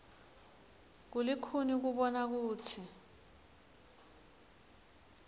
kulikhuni kubona kutsi